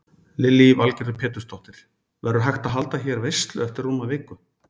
Lillý Valgerður Pétursdóttir: Verður hægt að halda hérna veislu eftir rúma viku?